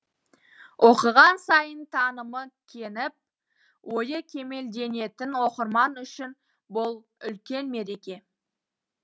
оқыған сайын танымы кеңіп ойы кемелденетін оқырман үшін бұл үлкен мереке